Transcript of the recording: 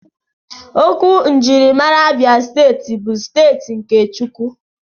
Okwu njirimara Abia Steeti bụ "steeti nke Chukwu"